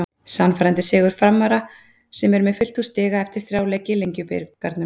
Sannfærandi sigur Framara sem eru með fullt hús stiga eftir þrjá leiki í Lengjubikarnum.